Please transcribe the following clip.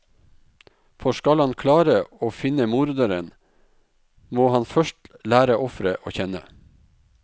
For skal han klare å finne morderen, må han først lære offeret å kjenne.